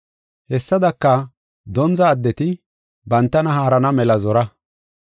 Hessadaka, dondza addeti bantana haarana mela zora.